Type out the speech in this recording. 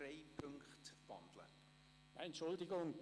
Nein, Entschuldigung.